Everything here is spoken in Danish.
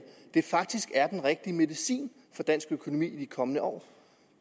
faktisk er den rigtige medicin for dansk økonomi i de kommende år